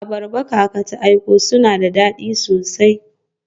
Abarba kaka ta aiko suna da dadi sosai.